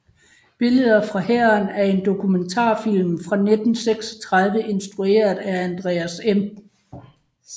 Billeder fra Hæren er en dokumentarfilm fra 1936 instrueret af Andreas M